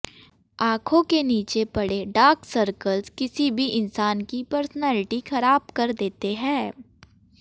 आंखों के नीचे पड़े डार्क सर्कल किसी भी इंसान की पर्सनैलिटी खराब कर देते हैं